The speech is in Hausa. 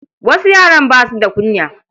Wasu yaran ba su da kunya.